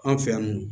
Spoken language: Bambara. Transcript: An fɛ yan nɔ